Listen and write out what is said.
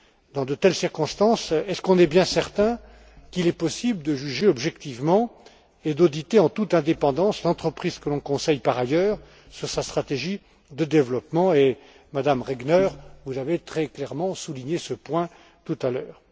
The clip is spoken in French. Dans de telles circonstances, sommes nous bien certains qu'il est possible de juger objectivement et d'auditer en toute indépendance l'entreprise que l'on conseille par ailleurs sur sa stratégie de développement? Madame Regner, vous avez très clairement souligné ce point tout à l'heure.